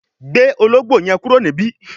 gbé Ológbò yen kúrò níbí!